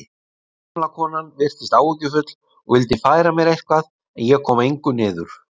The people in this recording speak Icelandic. Gamla konan virtist áhyggjufull og vildi færa mér eitthvað en ég kom engu niður.